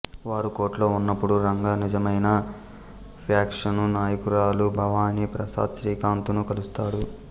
వారు కోర్టులో ఉన్నప్పుడు రంగా నిజమైన ఫ్యాక్షను నాయకురాలు భవానీ ప్రసాద్ శ్రీకాంత్ ను కలుస్తాడు